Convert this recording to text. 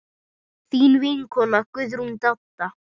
Þín vinkona Guðrún Dadda.